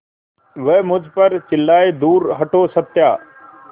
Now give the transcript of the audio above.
वह मुझ पर चिल्लाए दूर हटो सत्या